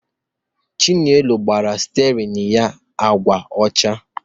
Chinelo gbara stiarin ya agwa ọcha